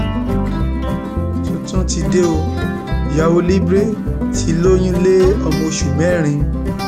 tuntun ti dé o ìyàwó libre ti lóyún lé ọmọ oṣù mẹrin